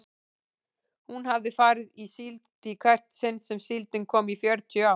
Hún hafði farið í síld í hvert sinn sem síldin kom í fjörutíu ár.